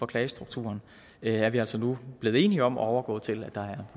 klagestrukturen er vi altså nu blevet enige om at overgå til at der er